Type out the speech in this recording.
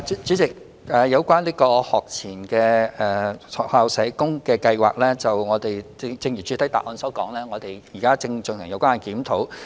主席，有關學前單位的駐校社工先導計劃，正如主體答覆所說，我們現正進行檢討。